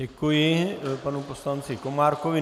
Děkuji panu poslanci Komárkovi.